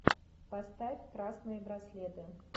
поставь красные браслеты